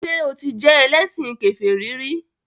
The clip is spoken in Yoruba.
Ṣé o ti jẹ́ ẹlẹ́sìn kèfèrí rí?